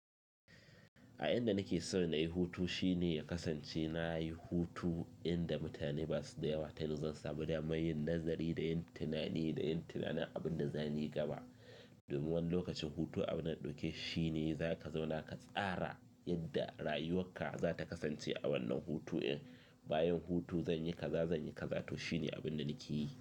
A inda nake so na yi hutu shine ya kasance na yi hutu inda mutane basu da yawa ta yanda zan samu daman yin nazari da yin tunani da yin tunanin abin da zanyi gaba. Domin wani lokacin hutu abunda na ɗauke shine zaka zauna ka tsara yadda rayuwarka za ta kasance a wannan hutu in bayan hutu zanyi kaza, zanyi kaza to shine abinda nake yi.